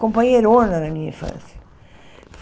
companheirona na minha infância.